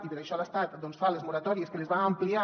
i per això l’estat fa les moratòries que les va ampliant